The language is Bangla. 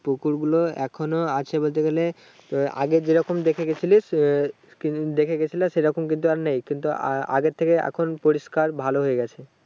পুকুর গুলা এখনো আছে বলতে গেলে আগে যে রকম দেখে গিয়েছিলিস এ সেরকম কিন্তু আর নেই কিন্তু আগের থেকে পরিষ্কার ভালো হয়ে গেছে ।